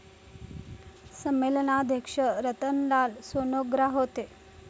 संमेलनाध्यक्ष रतनलाल सोनग्रा होते.